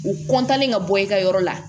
U kɔntan ka bɔ i ka yɔrɔ la